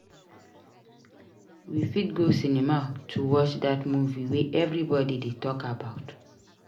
We fit go cinema to watch that movie wey everybody dey talk about.